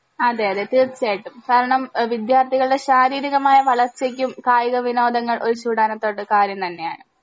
അതെ ലെ തീർച്ചായിട്ടും കാരണം എഹ് വിദ്യാർത്ഥികള്ടെ ശാരീരികമായ വളർച്ചക്കും കായിക വിനോദങ്ങൾ ഒരു ചൂടാണത്തോട് കാര്യം തന്നെയാണ്